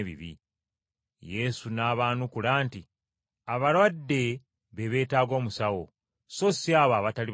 Yesu n’abaanukula nti, “Abalwadde be beetaaga omusawo, so si abo abatali balwadde.